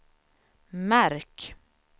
märk